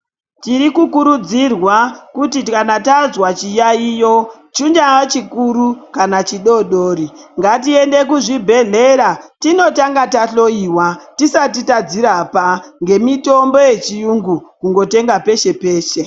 Tiri kukurudzirwa kuti kana tazwa chiyaiyo chingaa chikuru kana chidodori ngatiende kuzvibhedhlera tinotanga tahloiwa tisati tadzirapa ngemitombo yechirungu kundotenga peshe peshe.